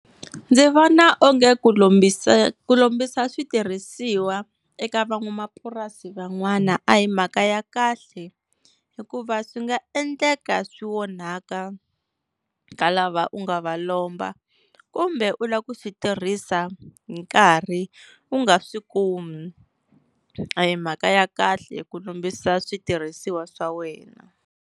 Ndzi vona onge ku lombisa ku lombisa switirhisiwa eka van'wamapurasi van'wana a hi mhaka ya kahle, hikuva swi nga endleka swi onhaka ka lava u nga va lomba kumbe u lava ku swi tirhisa hi nkarhi u nga swi kumi, a hi mhaka ya kahle ku lombisa switirhisiwa swa wena.